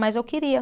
Mas eu queria.